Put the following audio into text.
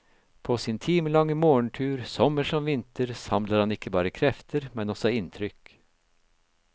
På sin timelange morgentur, sommer som vinter, samler han ikke bare krefter, men også inntrykk.